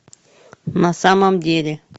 на самом деле